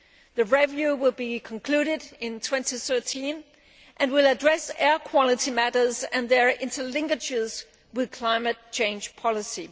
The review will be concluded in 2013 and will address air quality matters and their interlinkages with climate change policy.